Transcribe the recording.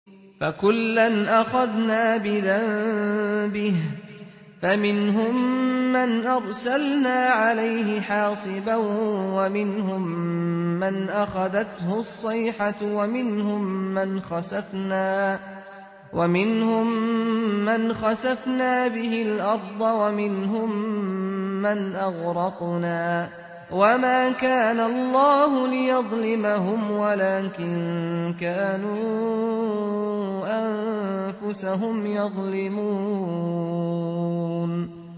فَكُلًّا أَخَذْنَا بِذَنبِهِ ۖ فَمِنْهُم مَّنْ أَرْسَلْنَا عَلَيْهِ حَاصِبًا وَمِنْهُم مَّنْ أَخَذَتْهُ الصَّيْحَةُ وَمِنْهُم مَّنْ خَسَفْنَا بِهِ الْأَرْضَ وَمِنْهُم مَّنْ أَغْرَقْنَا ۚ وَمَا كَانَ اللَّهُ لِيَظْلِمَهُمْ وَلَٰكِن كَانُوا أَنفُسَهُمْ يَظْلِمُونَ